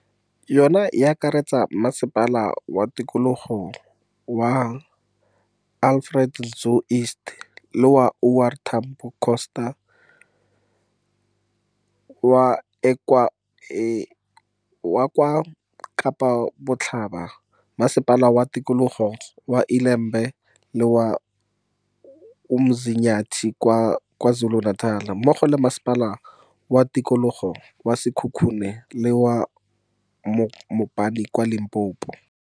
Yona e akaretsa Masepala wa Tikologo wa Alfred Nzo East le wa O R Tambo Coasta l kwa Kapa Botlhaba, Masepala wa Tikologo wa ILe mbe le wa UMzinyathi kwa KwaZulu-Natal, mmogo le Masepala wa Tikologo wa Sekhukhune le wa Mopani kwa Limpopo.